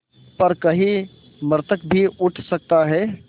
पर कहीं मृतक भी उठ सकता है